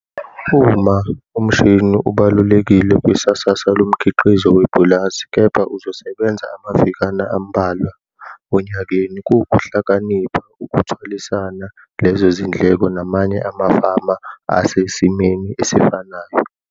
Uma umshini ubalulekile kwisasasa lomkhiqizo wepulazi, kepha uzosebenza amavikana ambalwa onyakeni, kuwukuhlakanipha ukuthwalisana lezo zindleko namanye amafama asesimeni esifanayo.